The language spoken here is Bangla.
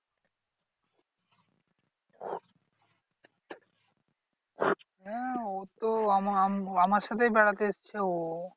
হ্যাঁ ও তো আম আমার সাথেই বেড়াতে এসেছে ও।